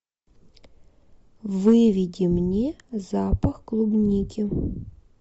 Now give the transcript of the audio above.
выведи мне запах клубники